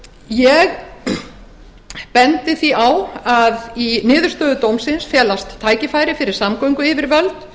ég bendi því á að í niðurstöðu dómsins felast tækifæri fyrir samgönguyfirvöld